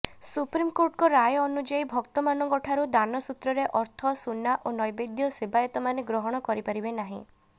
ସୁପ୍ରିମ୍କୋର୍ଟଙ୍କ ରାୟ ଅନୁଯାୟୀ ଭକ୍ତମାନଙ୍କଠାରୁ ଦାନସୂତ୍ରରେ ଅର୍ଥ ସୁନା ଓ ନୈବେଦ୍ୟ ସେବାୟତମାନେ ଗ୍ରହଣ କରିପାରିବେନାହିଁ